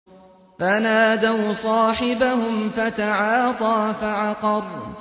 فَنَادَوْا صَاحِبَهُمْ فَتَعَاطَىٰ فَعَقَرَ